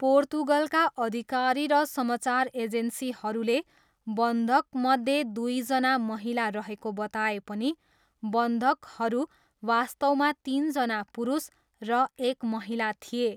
पोर्तुगलका अधिकारी र समाचार एजेन्सीहरूले बन्धकमध्ये दुईजना महिला रहेको बताए पनि बन्धकहरू वास्तवमा तिनजना पुरुष र एक महिला थिए।